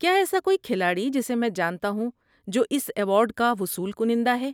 کیا ایسا کوئی کھلاڑی جسے میں جانتا ہوں جو اس ایوارڈ کا وصول کنندہ ہے؟